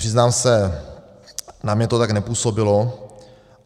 Přiznám se, na mě to tak nepůsobilo.